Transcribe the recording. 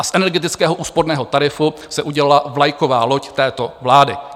A z energetického úsporného tarifu se udělala vlajková loď této vlády.